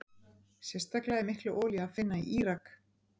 Sérstaklega er mikla olíu að finna í Írak.